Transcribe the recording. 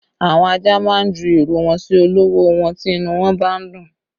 Àwọn ajá má ń ju ìrù wọn sí olówó wọn tí inú wọn bá ń dùn